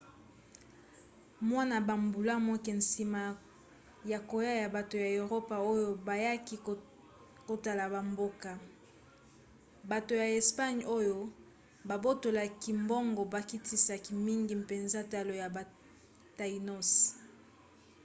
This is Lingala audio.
mwa bambula moke nsima ya koya ya bato ya eropa oyo bayaki kotala bamboka bato ya espagne oyo babotolaki mbongo bakitisaki mingi mpenza talo ya ba tainos